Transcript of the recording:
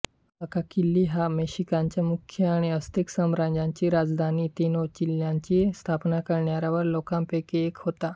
Acacitli हा मेशिकांचा मुख्य आणि अस्तेक साम्राज्याची राजधानी तेनोच्तित्लानची स्थापना करणाऱ्या लोकांपैकी एक होता